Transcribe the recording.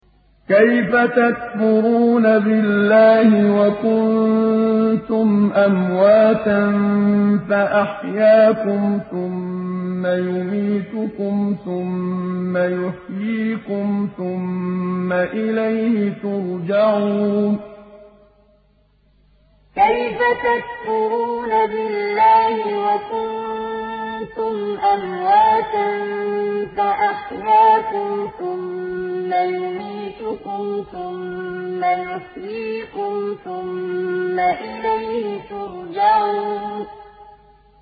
كَيْفَ تَكْفُرُونَ بِاللَّهِ وَكُنتُمْ أَمْوَاتًا فَأَحْيَاكُمْ ۖ ثُمَّ يُمِيتُكُمْ ثُمَّ يُحْيِيكُمْ ثُمَّ إِلَيْهِ تُرْجَعُونَ كَيْفَ تَكْفُرُونَ بِاللَّهِ وَكُنتُمْ أَمْوَاتًا فَأَحْيَاكُمْ ۖ ثُمَّ يُمِيتُكُمْ ثُمَّ يُحْيِيكُمْ ثُمَّ إِلَيْهِ تُرْجَعُونَ